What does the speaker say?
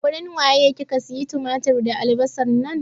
A wurin waye kika siya tumatir da albasan nan?